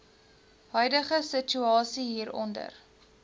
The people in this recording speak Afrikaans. huidige situasie hieronder